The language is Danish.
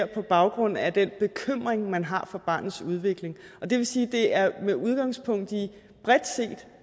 på baggrund af den bekymring man har for barnets udvikling og det vil sige at det er med udgangspunkt i bredt set